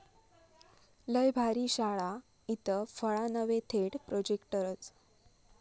लय भारी' शाळा, इथं फळा नव्हे थेट प्रोजेक्टरच!